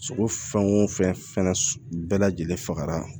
Sogo fɛn o fɛn na bɛɛ lajɛlen fagara